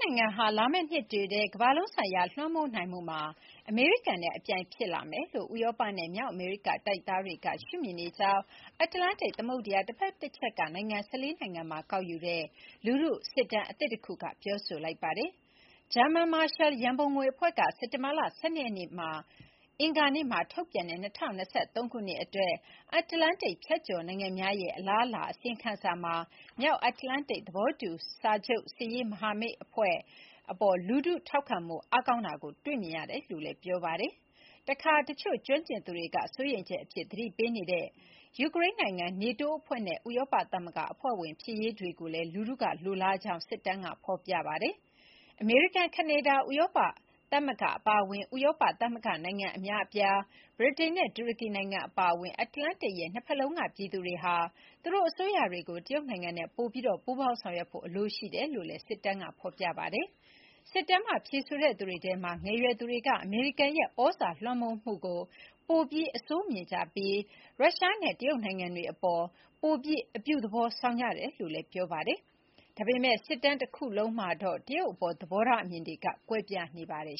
နိုင်ငံဟာ လာမယ့်နှစ်တွေထဲ ကမ္ဘာလုံးဆိုင်ရာလွှမ်းမိုးနိုင်မှုမှာ အမေရိကန်နဲ့ အပြိုင် ဖြစ်လာမယ်လို့ ဥရောပနဲ့ မြောက်အမေရိကတိုက်သားတွေက ရှုမြင်နေကြောင်း အတ္တလန်တိတ်သမုဒ္ဒရာတဖက်တချက်က နိုင်ငံ (၁၄) နိုင်ငံမှာ ကောက်ယူတဲ့ လူထုစစ်တမ်းအသစ်တခုက ပြောလိုက်ပါတယ်။ ‘ဂျာမန် မာရှယ်လ် ရန်ပုံငွေ’ အဖွဲ့က စက်တင်ဘာ (၁၂) ရက်မှာ အင်္ဂါနေ့မှာ ထုတ်ပြန်တဲ့ ၂၀၂၃ ခုနှစ် အတွက် ‘အတ္တလန်တိတ်ဖြတ်ကျော် နိုင်ငံများရဲ့ အလားအလာ’ အစီရင်ခံစာမှာ မြောက်အတ္တလန်တိတ် သဘောတူစာချုပ် စစ်ရေး မဟာမိတ် (NATO) အဖွဲ့အပေါ် လူထု ထောက်ခံမှုအားကောင်းတာကို တွေ့မြင်ရတယ်လို့ဆိုပါတယ်။ တခါ တချို့ကျွမ်းကျင်သူတွေက စိုးရိမ်ချက်အဖြစ် သတိပေးနေတဲ့ ယူကရိန်း နိုင်ငံ၊ နေတိုးအဖွဲ့နဲ့ ဥရောပသမဂ္ဂအဖွဲ့ဝင် ဖြစ်ရေးတွေကိုလည်း လူထုက လိုလားကြတယ်လို့ စစ်တမ်းက ဆိုပါတယ်။ အမေရိကန်၊ ကနေဒါ၊ ဥရောပသမဂ္ဂအပါအဝင် ဥရောပသမဂ္ဂနိုင်ငံအများအပြား၊ ဗြိတိန်နဲ့တူရကီနိုင်ငံအပါအဝင် အတ္တလန္တိတ်ရဲ့ နှစ်ဘက်လုံးက ပြည်သူတွေဟာ သူတို့ရဲ့အစိုးရတွေကို တရုတ်နိုင်ငံနဲ့ ပိုပြီး ပူးပေါင်းဆောင်ရွက်ဖို့အလိုရှိတယ်လို့လည်း စစ်တမ်းမှာ ဖော်ပြထားပါတယ်။ စစ်တမ်းမှာ ဖြေဆိုတဲ့သူတွေထဲက ငယ်ရွယ်သူတွေက အမေရိကန်ရဲ့ သြဇာလွှမ်းမိုးမှုကို ပိုပြီးအဆိုးမြင်ကြပြီး ရုရှားနဲ့ တရုတ်နိုင်ငံတွေအပေါ် ပိုပြီး အပြုသဘောဆောင်ကြတယ်လို့လည်း ဆိုပါတယ်။ ဒါပေမယ့် စစ်တမ်း တခုလုံးမှာတော့ တရုတ်အပေါ် သဘောထားအမြင်တွေက ကွဲပြားနေကြပါတယ်